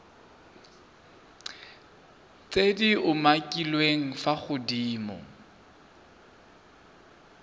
tse di umakiliweng fa godimo